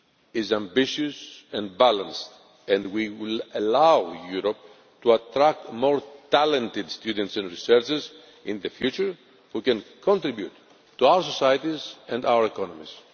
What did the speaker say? is ambitious and balanced and will allow Europe to attract more talented students and researchers in the future who can contribute to our societies and to our economies.